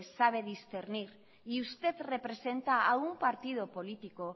sabe discernir y usted representa a un partido político